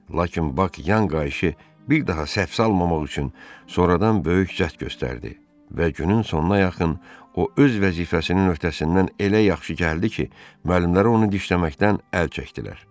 Lakin Bak yan qayışı bir daha səhv salmamaq üçün sonradan böyük cəhd göstərdi və günün sonuna yaxın o öz vəzifəsinin öhtəsindən elə yaxşı gəldi ki, müəllimlər onu dişləməkdən əl çəkdilər.